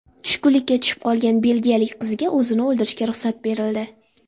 Tushkunlikka tushib qolgan belgiyalik qizga o‘zini o‘ldirishga ruxsat berildi.